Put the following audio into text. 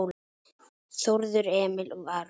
Þórður Emil og Aron